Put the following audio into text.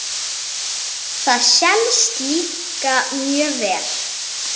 Það selst líka mjög vel.